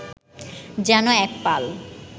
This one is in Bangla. যেন এক পাল